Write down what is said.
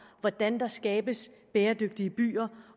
hvordan der skabes bæredygtige byer